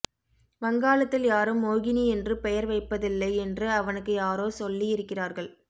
வங்காளத்தில் யாரும் மோகினி என்று பெயர் வைப்பதில்லை என்று அவனுக்கு யாரோ சொல்லியிருக்கிறார்கள்